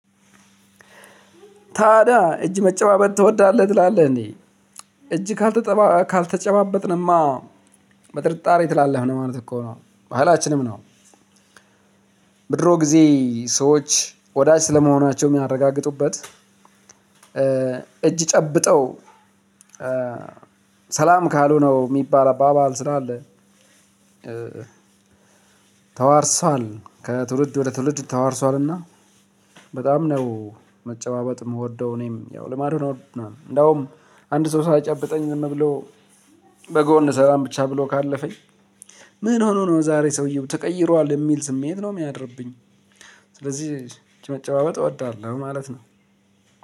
ታዳ እጅ መጨባበጥ ትወዳለህ ትላለህ እዴ እጅ ካልተጨባበጥንማ በጥርጣሬ ትላለህ ማለት እኮ ነው ባህላችንም ነው። ብድሮ ጊዜ ሰዎች ወዳጅ ስለመሆናቸው የሚያረጋግጡበት እጅ ጨብጠው ሰላም ካሉ ነው የሚባል አባባል ስላለ። ተዋርሷል ከትውልድ ወደ ትውልድ ተዋርሷልና በጣም ነው። መጨባበጥ የምወደው እኔም ያው ልማዱን እንደውም አንድ ሰው ሳይጨብጠኝ ዝም ብሎ በጎ እንሰራለን ብቻ ብሎ ካለፈኝ። ምን ሆኖ ነው? ዛሬ ሰውየው ተቀይሯል የሚል ስሜት ነው የሚያድርብኝ። ስለዚህ መጨባበጥ እወዳለሁ ማለት ነው።